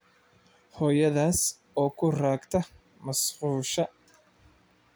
Hooyadaas oo ku raagta musqusha.